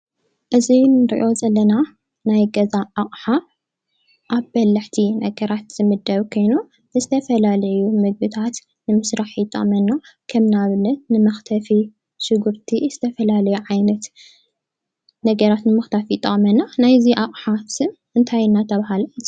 እዚ ንርእዮ ዘለና ናይ ገዛ ኣቕሓ ኣብ በልሕቲ ነገራት ዝምደብ ከይኑ ንዝተፈላለዩ ምግብታት ንምሥራሕ ይጠቕመና፡፡ ከም ናኣብነት ንመኽተፊ ሽጕርቲ ዝተፈላለዩ ዓይነት ነገራት ንመኽተፊ ይጠቅመና፡፡ ናይዚ ኣቕሓ ስም እንታይ እናተብሃለ ይፅዋዕ?